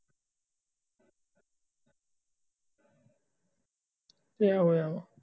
ਕੀ ਹੋਇਆ